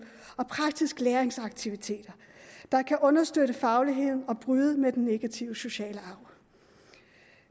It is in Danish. og praktiske læringsaktiviteter der kan understøtte fagligheden og bryde med den negative sociale arv